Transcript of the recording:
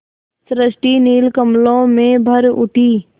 सृष्टि नील कमलों में भर उठी